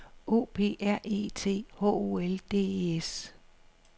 O P R E T H O L D E S